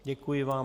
Děkuji vám.